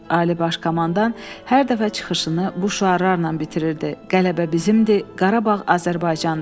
Ali Baş Komandan hər dəfə çıxışını bu şüarlarla bitirirdi: Qələbə bizimdir, Qarabağ Azərbaycandır!